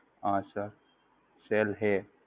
હા Sir Cell Hey